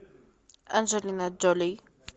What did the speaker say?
анджелина джоли